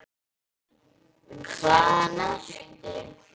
Hvaðan ertu?